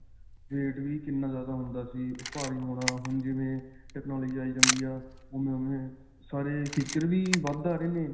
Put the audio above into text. weight ਵੀ ਕਿੰਨਾ ਜਿਆਦਾ ਹੁੰਦਾ ਸੀ. ਭਾਰੀ ਹੋਣਾ ਹੁਣ ਜਿਵੇਂ technology ਆਈ ਜਾਂਦੀ ਹੈਂ ਓਵੇਂ-ਓਵੇਂ ਸਾਰੇ features ਵੀ ਵੱਧ ਆ ਰਹੇ ਨੇ.